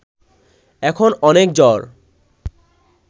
এখন অনেক জ্বর